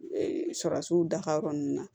Surasiw dafa lɔrɔn n na